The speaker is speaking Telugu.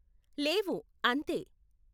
లేవు, అంతే.